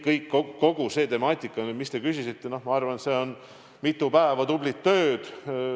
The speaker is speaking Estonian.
Kogu see temaatika, mille kohta te küsisite, nõuab ilmselt mitu päeva tublit tööd.